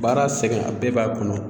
Baara sɛgɛn a bɛɛ b'a kɔnɔ